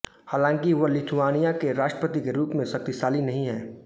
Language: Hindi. हालांकि वह लिथुआनिया के राष्ट्रपति के रूप में शक्तिशाली नहीं है